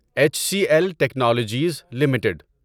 H C L technologies limited